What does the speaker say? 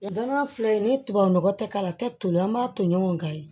Danaya filɛ nin ye ni tubabu nɔgɔ tɛ k'a la a tɛ toli an b'a to ɲɔgɔn kan ye